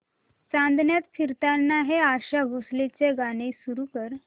चांदण्यात फिरताना हे आशा भोसलेंचे गाणे सुरू कर